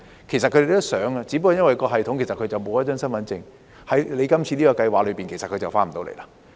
其實他們想回來，只不過相關系統令到他們沒有身份證，在當局今次的計劃下他們便未能回來。